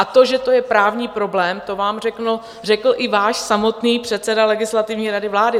A to, že je to právní problém, to vám řekl i váš samotný předseda Legislativní rady vlády.